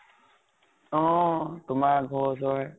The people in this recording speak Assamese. অ । তোমাৰ ।